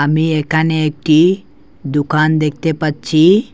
আমি একানে একটি দোকান দেখতে পাচ্ছি।